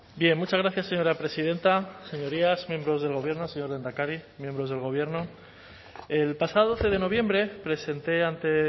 muchas gracias señora presidenta señorías miembros del gobierno señor lehendakari miembros del gobierno el pasado doce de noviembre presenté ante